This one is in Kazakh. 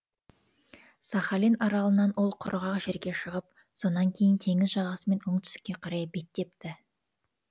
сахалин аралынан ол құрғақ жерге шығып сонан кейін теңіз жағасымен оңтүстікке қарай беттепті